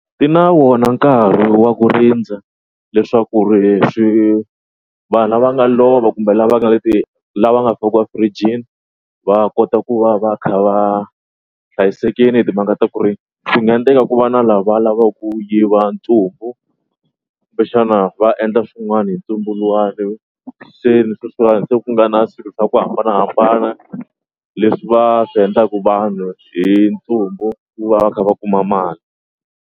Ti na vona nkarhi wa ku rindza leswaku ri swi vanhu lava nga lova kumbe lava nga le ti lava nga fakiwa firijini va kota ku va va kha va hlayisekini hi timhaka ta ku ri swi nga endleka ku va na lava lavaka ku yiva ntsumbu kumbexana va endla swin'wana hi ntsumbu luwani se ni sweswiwani se ku nga na swilo swa ku hambanahambana leswi va swi endlaka vanhu hi ntsumbu ku va va kha va kuma mali.